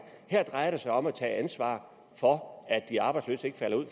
her drejer det sig om at tage ansvar for at de arbejdsløse ikke falder ud